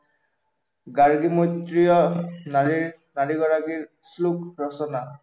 গাৰ্গী মৈত্ৰীয় নাৰীৰ চাৰিগৰাকীৰ শ্লোক ৰচনা